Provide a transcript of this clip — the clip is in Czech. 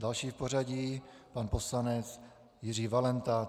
Další v pořadí pan poslanec Jiří Valenta.